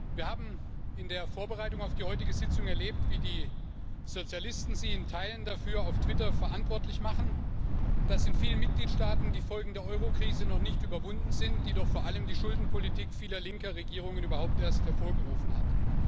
Wir haben in der Vorbereitung auf die heutige Sitzung erlebt, wie die Sozialisten Sie in Teilen dafür auf Twitter verantwortlich machen, dass in vielen Mitgliedstaaten die Folgen der Eurokrise noch nicht überwunden sind, die doch vor allem die Schuldenpolitik vieler linker Regierungen überhaupt erst hervorgerufen hat.